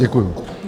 Děkuju.